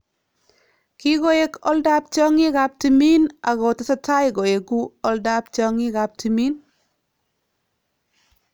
"Kikoek oldaab tyongikab timiin ako tesetai koekuu oldab tyongikab timiin